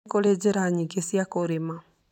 Nĩ kũrĩ njĩra nyingĩ cia kũrĩma.